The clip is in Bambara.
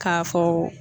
K'a fɔ